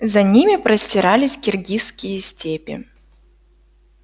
за ними простирались киргизские степи